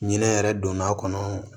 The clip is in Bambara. Ɲinɛ yɛrɛ don n'a kɔnɔ